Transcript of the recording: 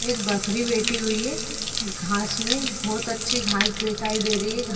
एक बकरी बैठी हुई है घांस में बहुत अच्छी घांस दिखाई दे रही है घांस --